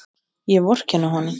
Ég vorkenni honum.